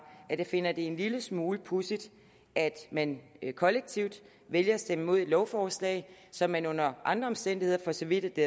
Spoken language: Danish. at jeg finder det en lille smule pudsigt at man kollektivt vælger at stemme imod et lovforslag som man under andre omstændigheder for så vidt at det